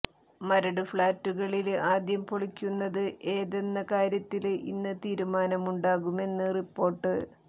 മരട് ഫ്ളാറ്റുകളില് ആദ്യം പൊളിക്കുന്നത് ഏതെന്ന കാര്യത്തില് ഇന്ന് തീരുമാനമുണ്ടാകുമെന്ന് റിപ്പോര്ട്ട്